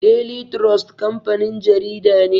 Daily trust kamfanin jarida ne.